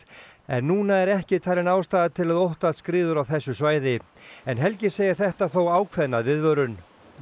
en núna er ekki talin ástæða til að óttast skriður á þessu svæði helgi segir þetta þó ákveðna viðvörun